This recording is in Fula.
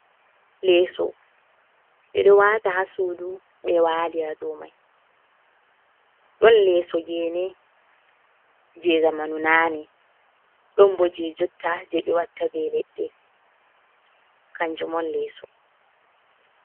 Leeso ɓe ɗo wata ha sudu ɓe walira dou mai ɗon lesso gene je zamanu nane, ɗon bo je jotta je ɓe watta ɓe leɗɗe kanjum on lesso.